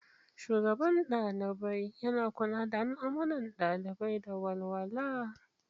Shugaban Dalibai: Yana kula da al'amuran ɗalibai da walwala.